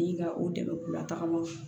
I ka o dɛmɛ k'u la tagamaw